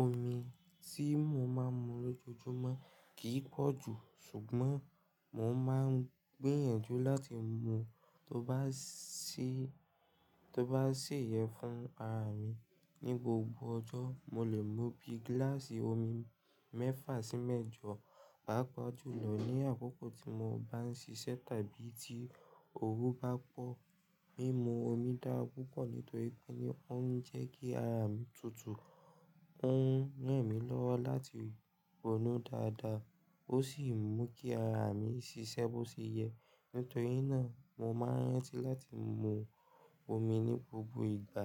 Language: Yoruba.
Omi tí mo máa ń mu lójoojúmọ́ kì í pọ̀ jù, ṣùgbọ́n mo máa ń gbìyànjú láti mu tó bá sì, tó bá ṣèye fún ara mi. Ni gbogbo ọjọ́, mo lè mu bíi gíláàsì omi mẹ́fà sí mẹ́jọ, pàápàá jùlọ ní àkókò tí mo bá ń ṣiṣẹ́ tàbí tí oru bá pọ̀. Mímu omi dára púpọ̀ nítorí pé ó ń jẹ́ kí ara mi tutù, ó ń ràn mí lọ́wọ́ láti ronú dáadáa, ó sì ń mú kí ara mi ṣiṣẹ́ bó ṣe yẹ. Nítorí náà, mo máa ń rántí láti mu omi ní gbogbo ìgbà,